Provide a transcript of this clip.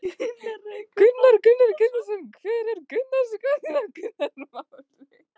Kristján Már Unnarsson: Hver er þín skoðun á þessu máli?